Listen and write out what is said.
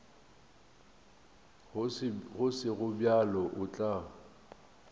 go sego bjalo o tla